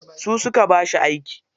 Su suka ba shi aiki.